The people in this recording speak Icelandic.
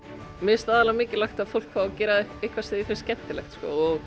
mér finnst aðallega mikilvægt að fólk fái að gera eitthvað sem því finnst skemmtilegt